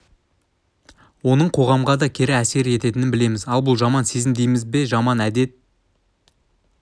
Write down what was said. оның қоғамға да кері әсер ететінін білеміз ал бұл жаман сезім дейміз бе жаман әдет